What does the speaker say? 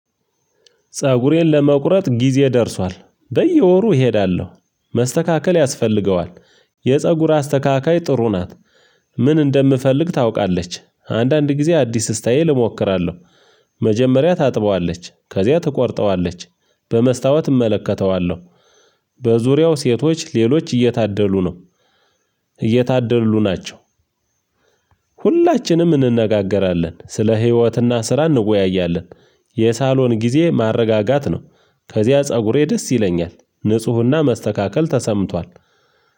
ፀጉሬን ለመቁረጥ ጊዜ ደርሷል በየወሩ እሄዳለሁ መስተካከል ያስፈልገዋል የፀጉር አስተካካይ ጥሩ ናት። ምን እንደምፈልግ ታውቃለች አንዳንድ ጊዜ አዲስ ስታይል እሞክራለሁ። መጀመሪያ ታጥበዋለች ከዚያ ትቆርጠዋለች በመስታወት እመለከተዋለሁ በዙሪያው ሴቶች ሌሎች እየታደሉ ነው። እየታደሉ ናቸው ሁላችንም እንነጋገራለን ስለ ህይወትና ስራ እንወያያለን። የሳሎን ጊዜ ማረጋጋት ነው ከዚያ ፀጉሬ ደስ ይለኛል ንፁህና መስተካከል ተሰምቷል።